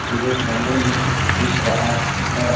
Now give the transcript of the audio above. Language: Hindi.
पूरे कमरे में दिख रहा है।